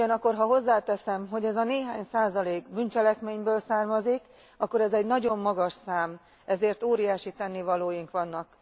Ugyanakkor, ha hozzáteszem, hogy ez a néhány százalék bűncselekményből származik, akkor ez egy nagyon magas szám, ezért óriási tennivalóink vannak.